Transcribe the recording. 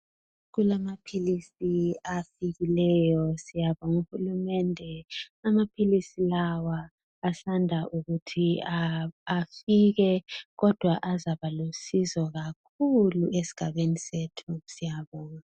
Kulamaphilisi afikileyo siyabonga uhulumende amaphilisi lawa asanda kuti afike kodwa azaba lusizo kakhulu esigabeni sethu siyabona.